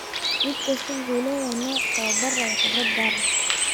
Mid kastaa wuxuu leeyahay nooc tababar iyo khibrad gaar ah.